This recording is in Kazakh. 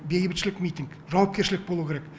бейбітшілік митинг жауапкершілік болу керек